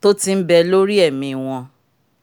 t'òtí nbè lórí ẹmi wọn